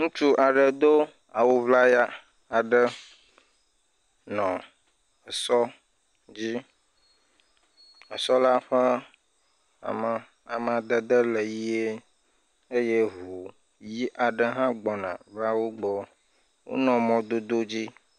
Ŋutsu aɖe do awu ŋlaya aɖe nɔ sɔ dzi, esɔla ƒe ama, amadede le yie eye ŋu aɖe hã gbɔna va wo gbɔ, wonɔ mɔdodo aɖe dzi.